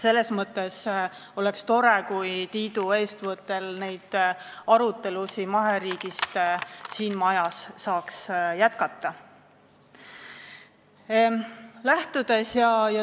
Selles mõttes oleks tore, kui Tiidu eestvõttel saaks neid maheriigi arutelusid siin majas jätkata.